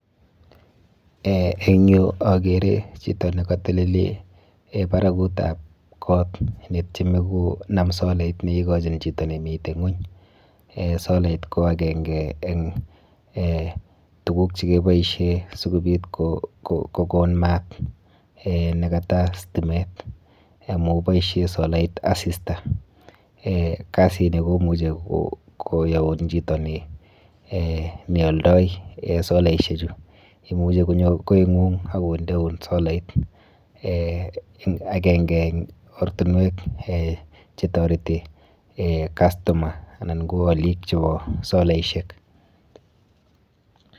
Eh eng yu akere chito nekatelele barakutap kot netieme konam solait neikochin chito nemite ng'ony. Eh solait ko akenke eng eh tuguk chekiboishe sikobit kokon mat eh nekata stimet amu boishe solait asista. Kasini komuchi koyaun chito ni eh neoldoi solaishechu. Imuchi konyo koing'ung akondeun solait. Eh akenke eng ortinwek eh chetoreti eh customer anan ko alik chepo solaishek.